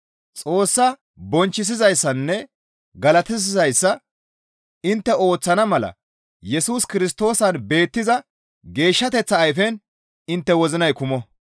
Xoossa bonchchisizayssanne galatissizayssa intte ooththana mala Yesus Kirstoosan beettiza geeshshateththa ayfen intte wozinay kumo.